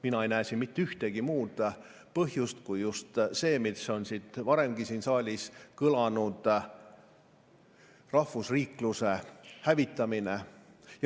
Mina ei näe siin mitte ühtegi muud põhjust kui see, mis on varemgi siin saalis kõlanud: rahvusriikluse hävitamine.